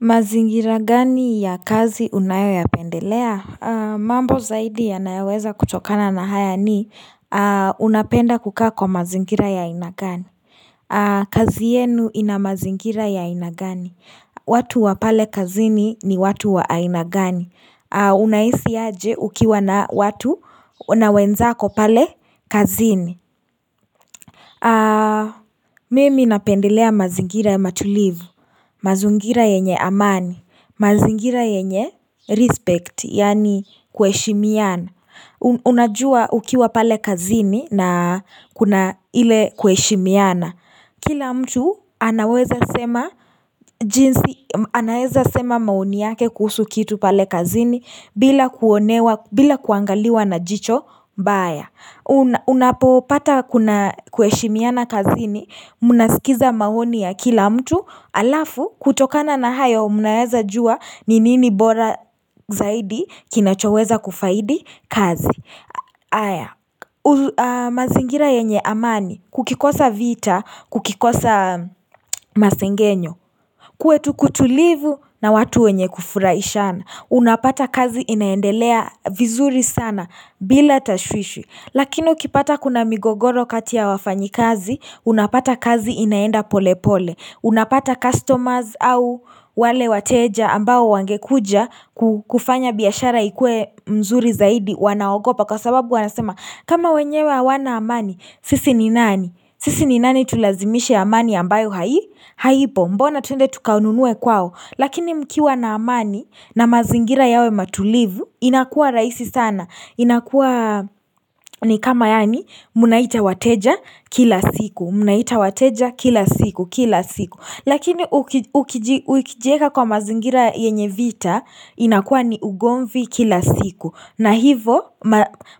Mazingira gani ya kazi unayoyapendelea? Mambo zaidi ya nayaweza kutokana na haya ni unapenda kukaa kwa mazingira ya inagani kazi yenu ina mazingira ya inagani? Watu wa pale kazini ni watu wa aina gani Unahisi ya je ukiwa na watu unawenzako pale kazini Mimi inapendelea mazingira ya matulivu Mazungira yenye amani mazingira yenye, respect, yani kweishimiana Unajua ukiwa pale kazini na kuna ile kuheshimiana Kila mtu anaweza sema maoni yake kuhusu kitu pale kazini bila kuangaliwa na jicho mbaya unapopata kuna kweishimiana kazini Mnasikiza maoni ya kila mtu alafu kutokana na hayo mnaweza jua ni nini bora zaidi kinachoweza kufaidi kazi haya, mazingira yenye amani kukikosa vita, kukikosa masingenyo kuwe tukutulivu na watu yenye kufuraishana unapata kazi inaendelea vizuri sana bila tashwishi lakini ukipata kuna migogoro kati ya wafanyi kazi unapata kazi inaenda pole pole Unapata customers au wale wateja ambao wangekuja kufanya biashara ikue mzuri zaidi wanaogopa kwa sababu wanasema kama wenye wa wanaamani sisi ni nani sisi ni nani tulazimishe amani ambayo haipo mbona twende tukanunue kwao lakini mkiwa na amani na mazingira yawe matulivu inakua rahisi sana inakua ni kama yani munaita wateja kila siku Munaita wateja kila siku, kila siku Lakini uikijeka kwa mazingira yenye vita inakua ni ugonvi kila siku na hivo